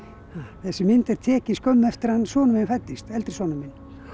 þessi mynd er tekin skömmu eftir að sonur minn fæddist eldri sonur minn